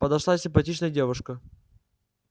подошла симпатичная девушка